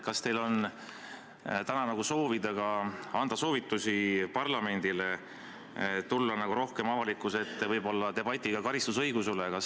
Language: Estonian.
Kas te soovitaksite parlamendile tulla rohkem avalikkuse ette debatiga karistusõiguse üle?